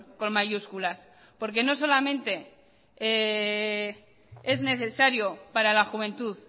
con mayúsculas porque no solamente es necesario para la juventud